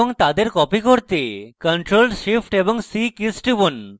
এবং তাদের copy করতে ctrl + shift + c কীস টিপুন